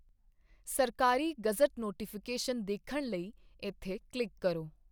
ਸਰਕਾਰੀ gazette notification ਵੇਖਣ ਲਈ ਇਥੇ ਕਲਿੱਕ ਕਰੋ